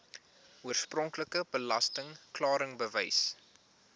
oorspronklike belasting klaringsbewys